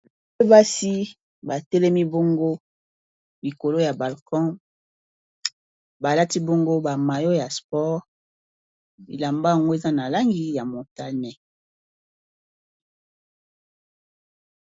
Basi batelemi bongo likolo ya balcon balati bongo ba mayo ya sport bilamba yango eza na langi ya motane.